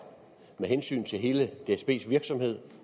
med hensyn til hele dsbs virksomhed